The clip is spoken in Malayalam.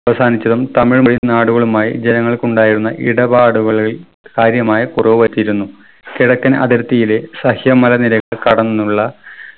അവസാനിച്ചതും തമിഴ്‌ലെ നാടുകളുമായി ജനങ്ങൾക്കുണ്ടായിരുന്ന ഇടപാടുകളിൽ കാര്യമായ കുറവ് പറ്റിയിരുന്നു. കിഴക്കൻ അതിർത്തിയിലെ സഹ്യമലനിരകൾ കടന്നുള്ള